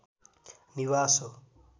निवास हो